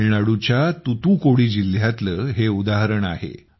तामिळनाडूच्या तुतूकुडी जिल्ह्यातले हे उदाहरण आहे